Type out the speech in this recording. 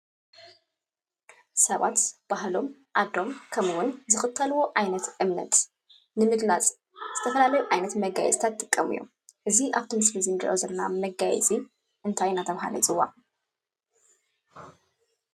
ሰባት ባህሎም ፣ ዓዶም ከምኡ እውን ዝኽተልዎ ዓይነት እምነት ንምግላፅ ዝተፈላለዩ ዓይነት መጋየፂታት ይጥቀሙ እዮም ። እዚ ኣብ እቲ ስእሊ እትሪእይዎ ዘለኩም መጋየፂ እንታይ እናተባሃለ ይፅዋዕ?